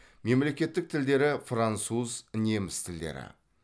мемлекеттік тілдері француз неміс тілдері